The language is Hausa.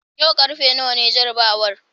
yau karfe nawa ne jarabawar?